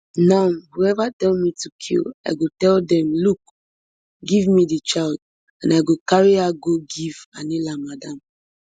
now whoever tell me to kill i go tell dem look give me di child and i go carry her go give anila madam